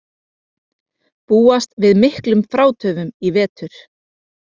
Búast við miklum frátöfum í vetur